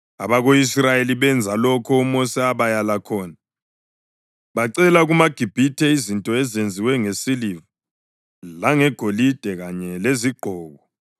Abako-Israyeli benza lokho uMosi abayala khona, bacela kumaGibhithe izinto ezenziwe ngesiliva langegolide kanye lezigqoko.